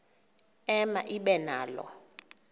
ema ibe nalo